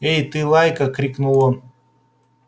эй ты лайка крикнул он